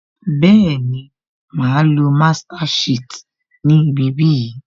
Bẹẹni, máa á lo master shit ni ibi bí yìí